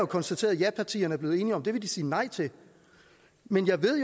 konstateret at japartierne er blevet enige om at det vil de sige nej til men jeg ved